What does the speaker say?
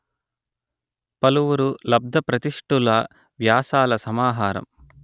పలువురు లబ్ధప్రతిష్ఠుల వ్యాసాల సమాహారం